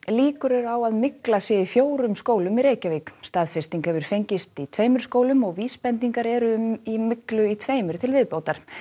líkur eru á að mygla sé í fjórum skólum í Reykjavík staðfesting hefur fengist í tveimur skólum og vísbendingar eru um myglu í tveimur til viðbótar